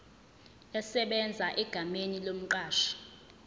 esebenza egameni lomqashi